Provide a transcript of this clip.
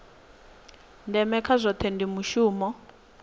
ndeme kha zwohe ndi mushumo